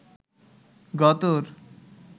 গতর